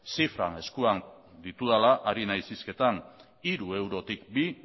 zifrak eskuan ditudala ari naiz hizketan hiru eurotik bi